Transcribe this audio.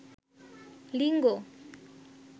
লিঙ্গ